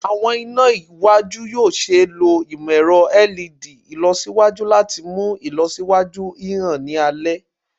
Awọn ina iwaju yoo ṣee lo imọ-ẹrọ LED ilọsiwaju lati mu ilọsiwaju hihan ni alẹ